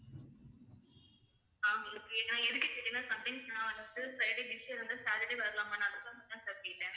ஆஹ் நான் எதுக்கு கேட்டேன்னா sometimes நான் வந்து friday saturday வரலாமான்னு sir கேட்டேன்.